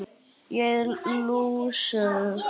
Ég er lúsug.